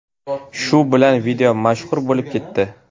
Shu bilan video mashhur bo‘lib ketdi.